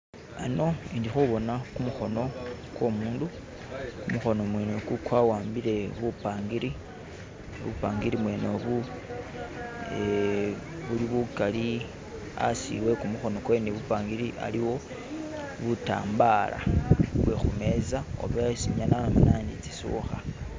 Ano indi khubona kumukhono kwo mundu kumukhono mwene oku kwa'ambile bupangiri bupangiri bwene obu eh-buli bukali asi we kumukhono kwene bupangiri aliwo butambala oba isi nyala laloma indi tsisukha